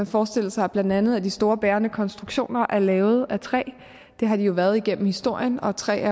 forestille sig at blandt andet de store bærende konstruktioner er lavet af træ det har de jo været igennem historien og træ